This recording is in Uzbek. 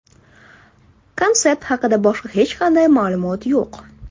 Konsept haqida boshqa hech qanday ma’lumot yo‘q.